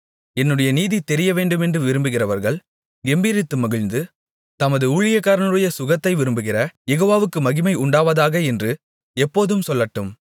என்னுடைய நீதி தெரியவேண்டுமென்று விரும்புகிறவர்கள் கெம்பீரித்து மகிழ்ந்து தமது ஊழியக்காரனுடைய சுகத்தை விரும்புகிற யெகோவாவுக்கு மகிமை உண்டாவதாக என்று எப்போதும் சொல்லட்டும்